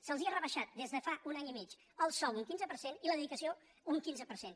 se’ls ha rebaixat des de fa un any i mig el sou un quinze per cent i la dedicació un quinze per cent